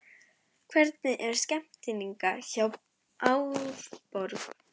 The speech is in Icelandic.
Hvernig er stemningin hjá Árborg?